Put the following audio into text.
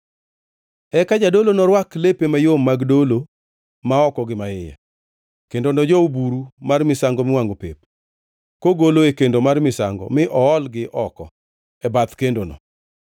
Eka jadolo norwak lepe mayom mag dolo ma oko gi maiye, kendo nojow buru mar misango miwangʼo pep kogolo e kendo mar misango mi oolgi oko e bath kendono.